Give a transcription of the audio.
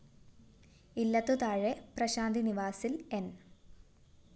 ഇല്ലത്തുതാഴെ പ്രശാന്തി നിവാസില്‍ ന്‌